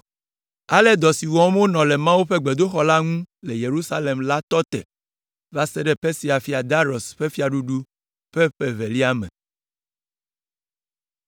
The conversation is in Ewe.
Ale dɔ si wɔm wonɔ le Mawu ƒe gbedoxɔ la ŋu le Yerusalem la tɔ va se ɖe Persia fia Darius ƒe fiaɖuɖu ƒe ƒe evelia me.